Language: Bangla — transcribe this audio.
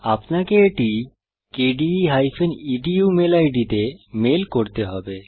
আপনাকে এটি কেডিই edu মেল আইডি তে মেল করতে হবে